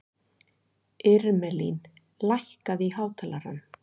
Irmelín, lækkaðu í hátalaranum.